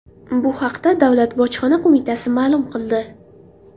Bu haqda Davlat bojxona qo‘mitasi ma’lum qildi.